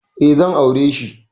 E, zan aure shi.